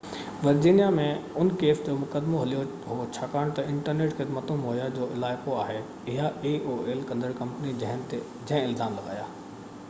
Virginia ۾ ان case جو مقدمو هليو هو ڇاڪاڻ تہ انٽرنيٽ خدمتون مهيا ڪندڙ aol جو علائقو آهي اها ڪمپني جنهن الزام لڳايا